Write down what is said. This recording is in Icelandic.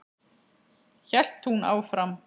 hélt hún áfram.